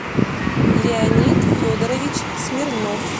леонид федорович смирнов